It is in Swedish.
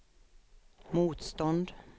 motstånd